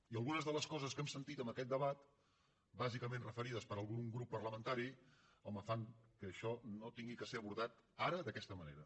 i algunes de les coses que hem sentit en aquest debat bàsicament referides per algun grup parlamentari home fan que això no hagi de ser abordat ara d’aquesta manera